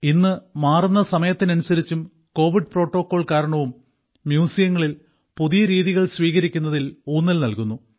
ഇന്ന് മാറുന്ന സമയത്തിനനുസരിച്ചും കോവിഡ് പ്രോട്ടോകോൾ കാരണവും മ്യൂസിയങ്ങളിൽ പുതിയ രീതികൾ സ്വീകരിക്കുന്നതിൽ ഊന്നൽ നൽകുന്നു